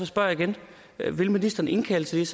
spørger jeg igen vil ministeren indkalde til